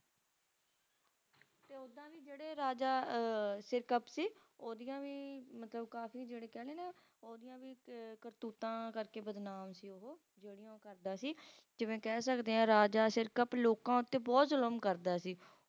ਤੇ ਰਾਜਾ ਅਹ Sirkap ਸੀ ਉਹਦੀਆਂ ਵੀ ਮਤਲਬ ਕਾਫੀ ਜਿਹੜੇ ਕਹਿਲੋ ਨਾ ਉਹਦੀਆਂ ਵੀ ਅਹ ਕਰਤੂਤਾਂ ਕਰਕੇ ਬਦਨਾਮ ਸੀ ਉਹ ਜਿਹੜੀਆਂ ਉਹ ਕਰਦਾ ਸੀ ਜਿਵੇਂ ਕਹਿ ਸਕਦੇ ਆ Raja Sirkap ਲੋਕਾਂ ਉੱਤੇ ਬਹੁਤ ਜ਼ੁਲਮ ਕਰਦਾ ਸੀ